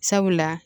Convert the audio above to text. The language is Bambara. Sabula